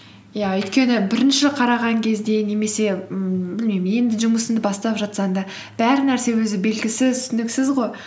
иә өйткені бірінші қараған кезде немесе ммм білмеймін енді жұмысыңды бастап жатсаң да бар нәрсе өзі белгісіз түсініксіз ғой